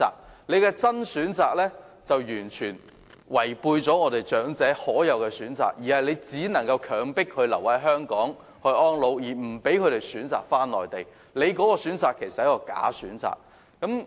他所說的"真選擇"完全剝奪了長者可享有的選擇，強迫他們必須留在香港養老，令他們不能選擇返回內地，那其實是一個"假選擇"。